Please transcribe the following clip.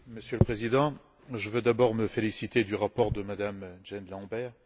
Monsieur le Président, je veux d'abord me féliciter du rapport de Mme Jean Lambert.